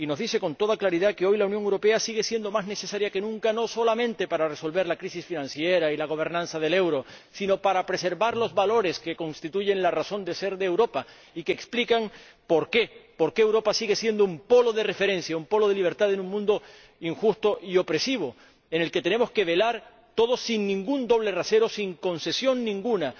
Y nos dice, con toda claridad, que hoy la Unión Europea sigue siendo más necesaria que nunca, no solamente para resolver la crisis financiera y la gobernanza del euro, sino para preservar los valores que constituyen la razón de ser de Europa y que explican por qué Europa sigue siendo un polo de referencia, un polo de libertad en un mundo injusto y opresivo, en el que tenemos que velar todos, sin ningún doble rasero, sin concesión alguna